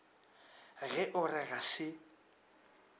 ge o re ga se